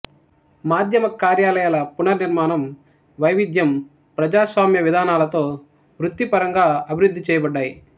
మాధ్యమ కార్యాలయాల పునర్నిర్మాణం వైవిధ్యం ప్రజాస్వామ్యవిధానాలతో వృత్తిపరంగా అభివృద్ధి చేయబడ్డాయి